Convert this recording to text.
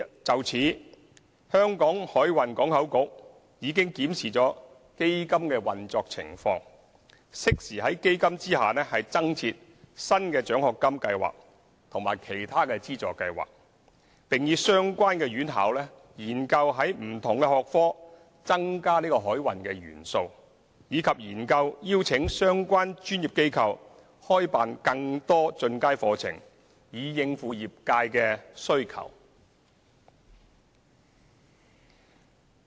就此，香港海運港口局已檢視基金的運作情況，適時在基金下增設新的獎學金計劃及其他資助計劃，並與相關院校研究在不同學科增加海運元素，以及研究邀請相關專業機構開辦更多進階課程，以應付業界的需求。